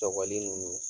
Sɔgɔli ninnu